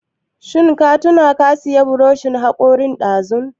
Ka tuna sayan buroshin haƙorin dazu?